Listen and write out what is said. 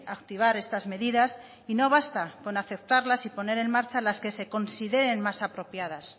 activar estas medidas y no basta con aceptarlas y poner en marcha las que se consideren más apropiadas